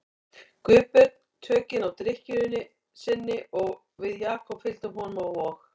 Guðbjörn tökin á drykkju sinni og við Jakob fylgdum honum á Vog.